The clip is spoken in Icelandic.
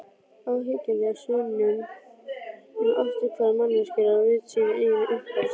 Óyggjandi sönnun um afturhvarf manneskjunnar á vit síns eigin upphafs.